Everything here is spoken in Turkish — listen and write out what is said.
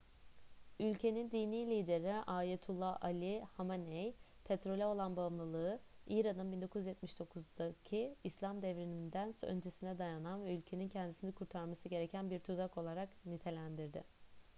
ülkenin dini lideri ayetullah ali hameney petrole olan bağımlılığı i̇ran'ın 1979'daki i̇slam devrimi'nden öncesine dayanan ve ülkenin kendisini kurtarması gereken bir tuzak olarak nitelendirdi